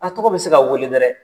A tɔgɔ bɛ se ka weele dɛrɛ.